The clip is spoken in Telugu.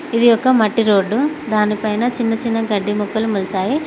ఇది ఒక మట్టి రోడ్డు దానిపైన చిన్న చిన్న గడ్డి మొక్కలు మొలసాయి.